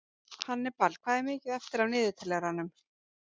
Hannibal, hvað er mikið eftir af niðurteljaranum?